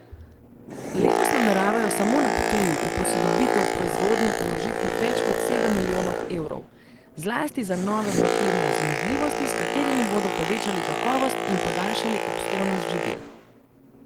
Letos nameravajo samo na Ptuju v posodobitev proizvodnje vložiti več kot sedem milijonov evrov, zlasti za nove pakirne zmogljivosti, s katerimi bodo povečali kakovost in podaljšali obstojnost živil.